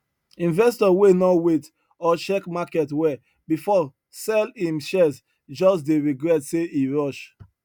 investor wey no wait or check market well before sell him shares just dey regret say e rush